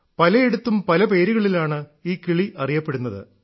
പലയിടത്തും പല പേരുകളിലാണ് ഈ കിളി അറിയപ്പെടുന്നത്